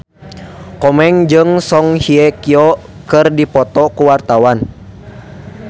Komeng jeung Song Hye Kyo keur dipoto ku wartawan